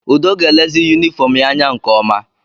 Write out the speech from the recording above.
Udo ga-elezi yunifọọm ya anya nke ọma.